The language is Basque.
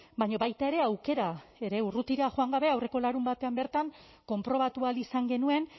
baina baita ere aukera ere urrutira joan gabe aurreko larunbatean bertan konprobatu ahal izan genuen